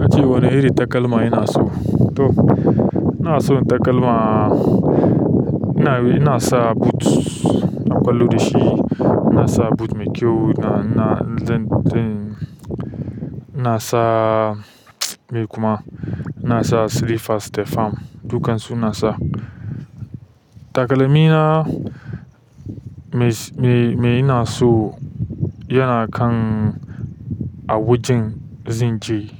Kace wani irin takalma ina so? To ina son takalma, ina yana sa boot, na ƙwallo da shi. Ina sa boot mai kyau, ina, ina, ina sa mai kuma ina sa slippers da fam, dukan su ina sa. Takalmi na me, me ina so yana kan a wajen zan je.